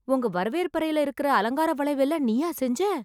உங்க வரவேற்பறைல இருக்க அலங்கார வளைவு எல்லாம் நீயா செஞ்ச?